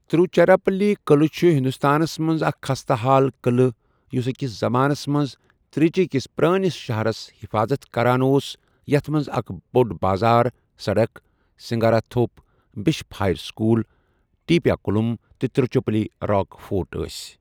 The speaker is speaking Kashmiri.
تروچیراپلی قعلہٕ چھُ ہندوستانس منز اکھ خستہٕ حال قلعہٕ یُس أکِس زمانَس منٛز تر٘یچی کِس پرٲنِس شہرس حفاظت كران اوس یتھ منز اكھ بو٘ڈ بازار سڈك ، Singarathope, Bishop Heber School, Teppakulam, تہٕ تِر٘وُچیرپلی راک فورٹ ٲسۍ۔